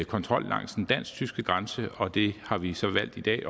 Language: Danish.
kontrol langs den dansk tyske grænse og det har vi så valgt i dag